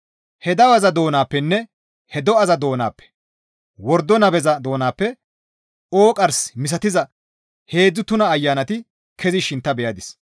He daweza doonappenne he do7aza doonappe, wordo nabeza doonappe ooqqars misatiza heedzdzu tuna ayanati kezishin ta beyadis.